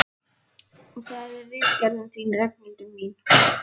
Og það er ritgerðin þín, Ragnhildur mín!